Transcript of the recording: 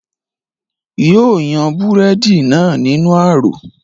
yóò yan búrẹ́dì náà nínú ààrò